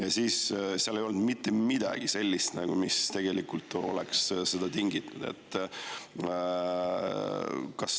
Ja seal ei olnud mitte midagi sellist, mis tegelikult oleks seda tinginud.